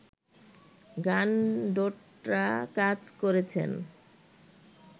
গানডোট্রা কাজ করেছেন